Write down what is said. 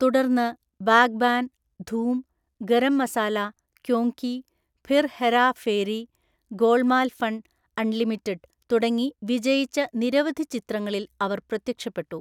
തുടർന്ന്, Baghban, Dhoom, Garam Masala, Kyon Ki, Phir Hera Pheri, Golmaal fun unlimited തുടങ്ങി വിജയിച്ച നിരവധി ചിത്രങ്ങളിൽ അവർ പ്രത്യക്ഷപ്പെട്ടു.